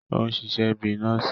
O ṣiṣẹ bi nọọsi